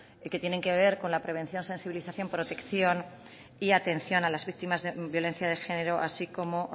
que tienen que ver con la prevención sensibilización protección y atención a las víctimas de violencia de género así como